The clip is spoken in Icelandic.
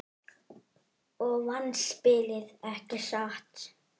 Og vannst spilið, ekki satt?